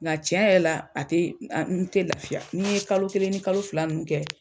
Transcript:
Nka cɛn yɛrɛ la a te n te lafiya ni n ye kalo kelen ni kalo fila nin kɛ